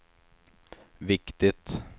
viktigt